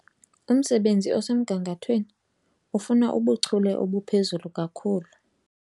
Umsebenzi osemgangathweni ufuna ubuchule obuphezulu kakhulu.